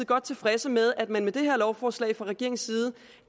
godt tilfredse med at man med det her lovforslag fra regeringens side